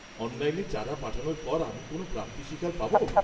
-অনলাইনে চাঁদা পাঠানোর পর আমি কোন প্রাপ্তি স্বীকার পাবো?